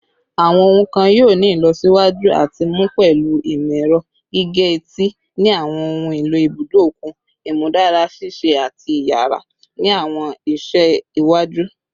Awọn ohun kan yoo ni ilọsiwaju ati mu pẹlu imọ-ẹrọ gige-eti ni awọn ohun elo ibudo okun, imudara ṣiṣe ati iyara ni awọn iṣẹ iwaju